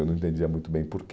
Eu não entendia muito bem por quê.